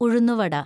ഉഴുന്നുവട